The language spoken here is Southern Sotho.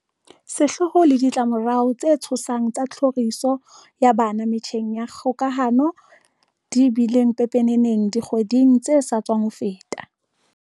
Sehloho le ditlamo rao tse tshosang tsa tlhoriso ya bana metjheng ya kgokahano di bile pepeneneng dikgwedi ng tse sa tswa feta.